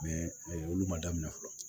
olu ma daminɛ fɔlɔ